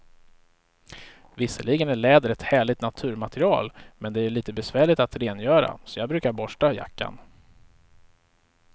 Visserligen är läder ett härligt naturmaterial, men det är lite besvärligt att rengöra, så jag brukar borsta jackan.